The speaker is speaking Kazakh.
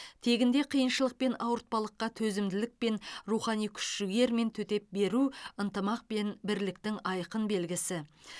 тегінде қиыншылық пен ауыртпалыққа төзімділікпен рухани күш жігермен төтеп беру ынтымақ пен бірліктің айқын белгісі